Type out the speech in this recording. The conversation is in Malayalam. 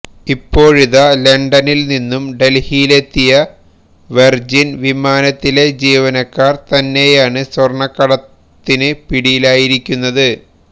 ഇപ്പോഴിതാ ലണ്ടനിൽ നിന്നും ഡൽഹിയിലെത്തിയ വെർജിൻ വിമാനത്തിലെ ജീവനക്കാർ തന്നെയാണ് സ്വർണക്കടത്തിന് പിടിയിലായിരിക്കുന്നത്